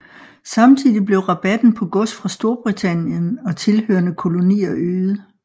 Samtidig blev rabatten på gods fra Storbritannien og tilhørende kolonier øget